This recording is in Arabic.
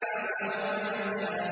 وَهُوَ يَخْشَىٰ